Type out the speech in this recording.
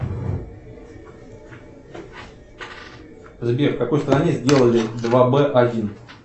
сбер в какой стране сделали два б один